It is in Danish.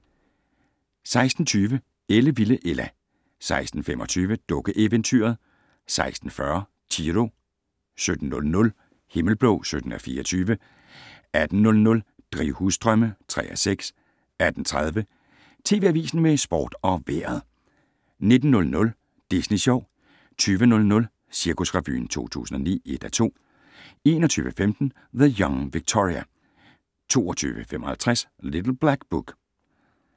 16:20: Ellevilde Ella 16:25: Dukkeeventyret 16:40: Chiro 17:00: Himmelblå (17:24) 18:00: Drivhusdrømme (3:6) 18:30: TV Avisen med sport og vejret 19:00: Disney Sjov 20:00: Cirkusrevyen 2009 (1:2) 21:15: The Young Victoria 22:55: Little Black Book